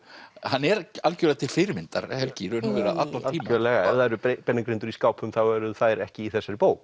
hann er algjörlega til fyrirmyndar Helgi í raun og veru allan tímann algjörlega ef það eru beinagrindur í skápum þá eru þær ekki í þessari bók